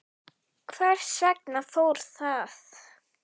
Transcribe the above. Hvers vegna fór það?